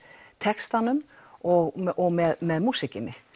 textanum og og með músíkinni